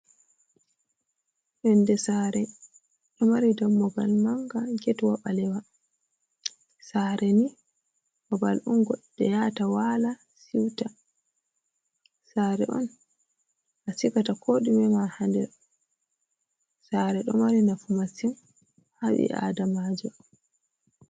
Yonde saare, ɗo mari dammugal manga, getwa ɓalewa. saare ni babal on goɗɗo yata wala siuta. Saare on a sigata ko ɗume ma haa nder. Saare ɗo mari nafu masin haa ɓi adamaajo.